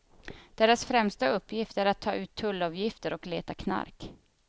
Deras främsta uppgift är att ta ut tullavgifter och leta knark.